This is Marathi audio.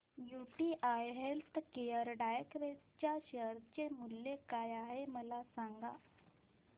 यूटीआय हेल्थकेअर डायरेक्ट च्या शेअर चे मूल्य काय आहे मला सांगा